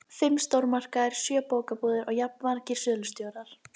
Aðferð þeirra við söfnunina var ofureinföld.